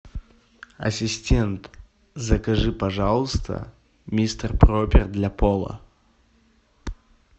ассистент закажи пожалуйста мистер пропер для пола